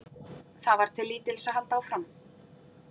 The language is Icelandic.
Það var til lítils að halda áfram.